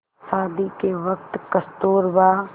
शादी के वक़्त कस्तूरबा